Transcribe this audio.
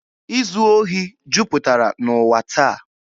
Izu ohi juputara n'ụwa taa.